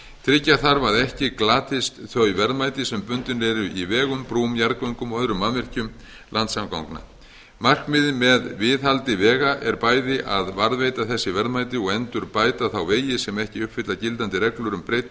tryggja þarf að ekki glatist þau verðmæti sem bundin eru í vegum brúm jarðgöngum og öðrum mannvirkjum landsamgangna markmiðið með viðhaldi vega er bæði að varðveita þessi verðmæti og endurbæta þá vegi sem ekki uppfylla gildandi reglur um breidd